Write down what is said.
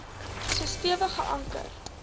so stewig geanker